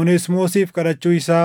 Oneesimoosiif Kadhachuu Isaa